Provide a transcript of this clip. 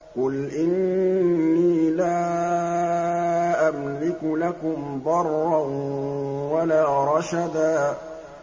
قُلْ إِنِّي لَا أَمْلِكُ لَكُمْ ضَرًّا وَلَا رَشَدًا